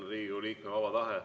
See on Riigikogu liikme vaba tahe.